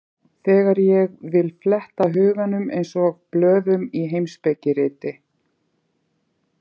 Þegar ég vil fletta huganum eins og blöðum í heimspekiriti.